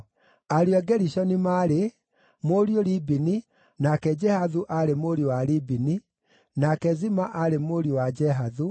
Ariũ a Gerishoni maarĩ: mũriũ Libini, nake Jehathu aarĩ mũriũ wa Libini, nake Zima aarĩ mũriũ wa Jehathu,